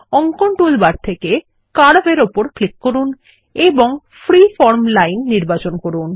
অঙ্কন টুলবার থেকে কার্ভ এর উপর ক্লিক করুন এবং ফ্রিফর্ম লাইন নির্বাচন করুন